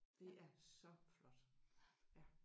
Det er så flot ja